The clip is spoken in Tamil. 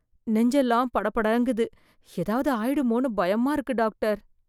நெஞ்செல்லாம் படபடங்குது ஏதாவது ஆயிடுமோ பயமா இருக்கு டாக்டர்